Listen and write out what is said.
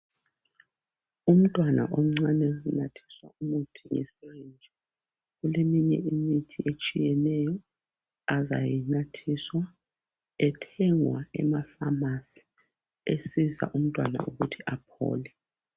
Umntwana omncane unathiswa imithi ngeseji. Kuleminye imithi eminengi etshiyeneyo, azayinathiswa, Ethengwa emapharmacy. Esiza umntwana ukuthi aphole.